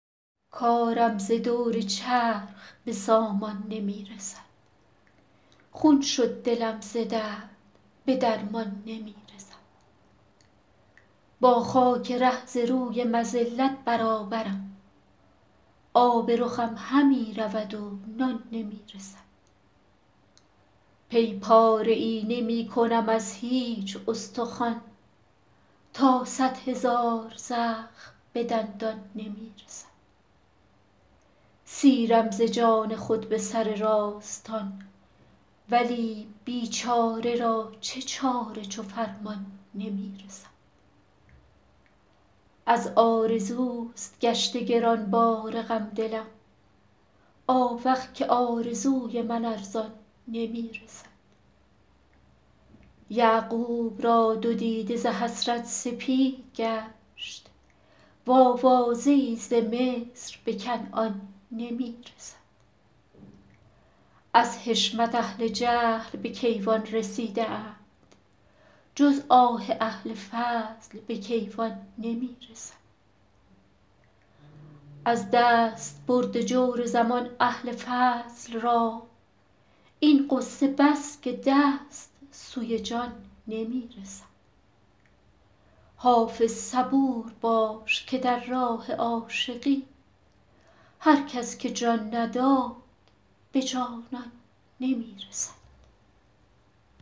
کارم ز دور چرخ به سامان نمی رسد خون شد دلم ز درد به درمان نمی رسد با خاک ره ز روی مذلت برابرم آب رخم همی رود و نان نمی رسد پی پاره ای نمی کنم از هیچ استخوان تا صدهزار زخم به دندان نمی رسد سیرم ز جان خود به سر راستان ولی بیچاره را چه چاره چو فرمان نمی رسد از آرزوست گشته گرانبار غم دلم آوخ که آرزوی من ارزان نمی رسد یعقوب را دو دیده ز حسرت سپید گشت وآوازه ای ز مصر به کنعان نمی رسد از حشمت اهل جهل به کیوان رسیده اند جز آه اهل فضل به کیوان نمی رسد از دستبرد جور زمان اهل فضل را این غصه بس که دست سوی جان نمی رسد حافظ صبور باش که در راه عاشقی هر کس که جان نداد به جانان نمی رسد